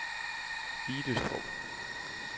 Idestrup